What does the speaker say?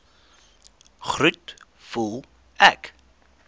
groet voel ek